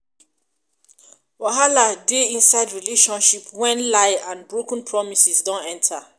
wahala dey dey inside relationship when lie and broken promises don enter